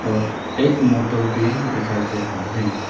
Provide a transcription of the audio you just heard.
और एक मोटर भी दिखाई दे रहा है।